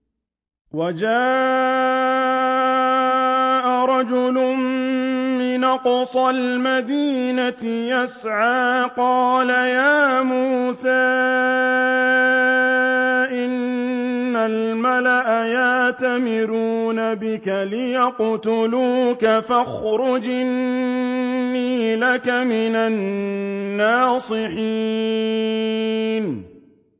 وَجَاءَ رَجُلٌ مِّنْ أَقْصَى الْمَدِينَةِ يَسْعَىٰ قَالَ يَا مُوسَىٰ إِنَّ الْمَلَأَ يَأْتَمِرُونَ بِكَ لِيَقْتُلُوكَ فَاخْرُجْ إِنِّي لَكَ مِنَ النَّاصِحِينَ